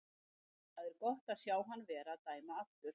Það er gott að sjá hann vera að dæma aftur.